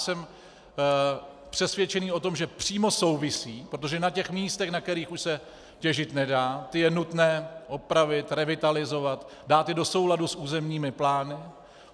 Jsem přesvědčen o tom, že přímo souvisí, protože na těch místech, na kterých už se těžit nedá, ta je nutné opravit, revitalizovat, dát je do souladu s územními plány.